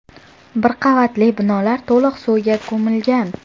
Bir qavatli binolar to‘liq suvga ko‘milgan.